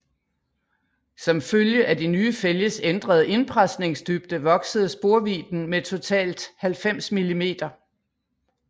Som følge af de nye fælges ændrede indpresningsdybde voksede sporvidden med totalt 90 mm